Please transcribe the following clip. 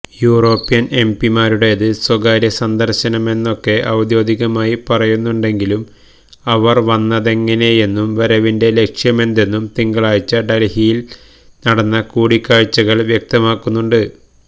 European എംപിമാരുടേത് സ്വകാര്യസന്ദർശനമെന്നൊക്കെ ഔദ്യോഗികമായി പറയുന്നുണ്ടെങ്കിലും അവർ വന്നതെങ്ങനെയെന്നും വരവിന്റെ ലക്ഷ്യമെന്തെന്നും തിങ്കളാഴ്ച ഡൽഹിയിൽ നടന്ന കൂടിക്കാഴ്ചകൾ വ്യക്തമാക്കുന്നുണ്ട്